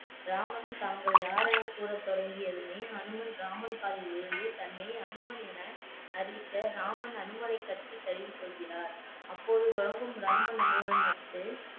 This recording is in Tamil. ராமன் தாங்கள் யாரெனக் கூறத் தொடங்கியதுமே அனுமன் ராமன் காலில் விழுந்து தன்னை அனுமன் என அறிவிக்க ராமன் அனுமனை கட்டி தழுவிக் கொள்கிறார் அப்போது தொடங்கும் ராமன் அனுமன் நட்பு